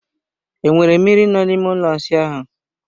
Enwere mmiri n'ime ụlọ ịsa ahụ?